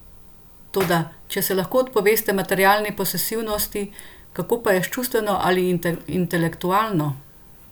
Toda, če se lahko odpoveste materialni posesivnosti, kako pa je s čustveno ali intelektualno?